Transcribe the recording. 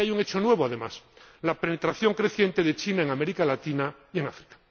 Y hay un hecho nuevo, además la penetración creciente de China en América Latina y en África.